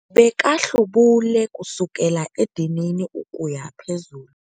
Bekahlubule kusukela edinini ukuya phezulu.